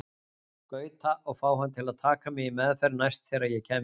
Gauta og fá hann til að taka mig í meðferð næst þegar ég kæmi heim.